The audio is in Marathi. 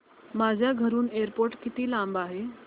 माझ्या घराहून एअरपोर्ट किती लांब आहे